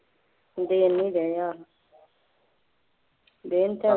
ਦੇ ਨਹੀਂ ਰਹੇ ਆਹੋ ਦੇਣ ਤਾਂ